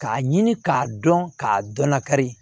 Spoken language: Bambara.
K'a ɲini k'a dɔn k'a dɔn nakari